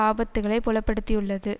ஆபத்துக்களை புலப்படுத்தியுள்ளது